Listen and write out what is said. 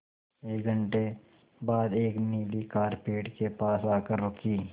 एक घण्टे बाद एक नीली कार पेड़ के पास आकर रुकी